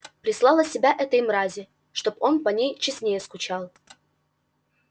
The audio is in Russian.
прислала себя этой мрази чтоб он по ней честнее скучал